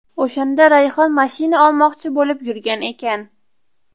O‘shanda Rayhon mashina olmoqchi bo‘lib yurgan ekan.